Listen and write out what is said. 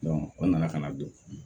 o nana ka na don